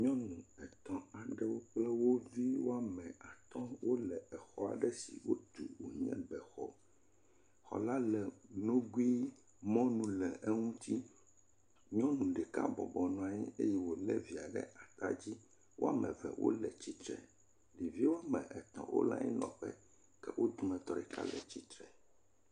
Nyɔnu atɔ̃ kple wo viwo woame atɔ̃ wole xɔ aɖe si wotu wònye bexɔ, xɔ la le nogui eye mɔ nu le eŋuti, nyɔnu ɖeka bɔbɔnɔ anyi eye wòlé via ɖe ata dzi. Woame eve wole tsitre. ɖevi woame etɔ̃ wole anyinɔƒe ke wo dometɔ ɖeka le tsitre.